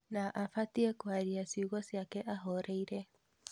Na abatiĩ kũaria ciugo ciake ahoreire